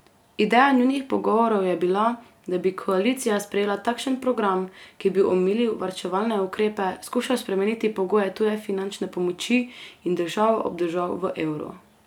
Ideja njunih pogovorov je bila, da bi koalicija sprejela takšen program, ki bi omilil varčevalne ukrepe, skušal spremeniti pogoje tuje finančne pomoči in državo obdržati v evru.